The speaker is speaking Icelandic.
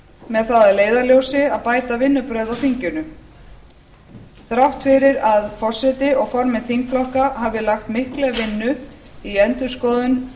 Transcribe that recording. með það að leiðarljósi að bæta vinnubrögð á þinginu þrátt fyrir að forseti og formenn þingflokka hafi lagt mikla vinnu í endurskoðun